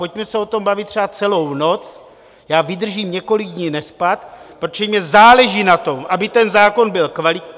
Pojďme se o tom bavit třeba celou noc, já vydržím několik dní nespat, protože mně záleží na tom, aby ten zákon byl kvalitní...